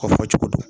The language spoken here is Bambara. O fɔ cogo do